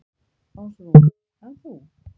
Ásrún: En þú?